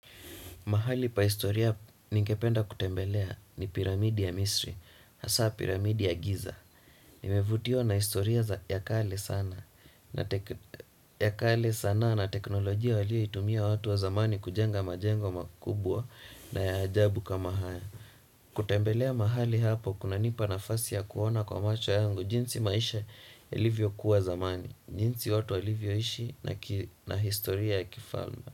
Mahali pa historia ningependa kutembelea ni piramidi ya misri, hasa piramidi ya giza. NiImevutiwa na historia za ya kaei sanaa na teknolojia walioitumia watu wa zamani kujenga majengo makubwa na ya ajabu kama hayo. Kutembelea mahali hapo kunanipa nafasi ya kuona kwa macho yangu, jinsi maisha yalivyo kuwa zamani, jinsi watu walivyo ishi na historia ya kifalme.